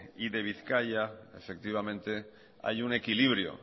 y de bizkaia efectivamente hay un equilibrio